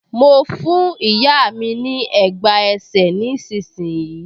Mo fún ìyá mi ní ẹ̀gbá ẹsẹ̀ nísinsìnyí